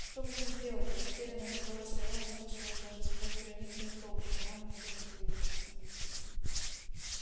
что будем делать растерянность в голосе рона слышалась даже сквозь гранитную толщу нам отсюда не выбраться